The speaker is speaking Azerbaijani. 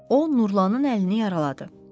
O Nurlanın əlini yaraladı.